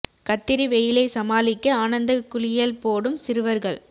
கத்திரி வெயிலை சமாளிக்க ஆனந்த குளியல் போடும் சிறுவர்கள்